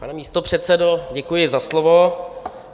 Pane místopředsedo, děkuji za slovo.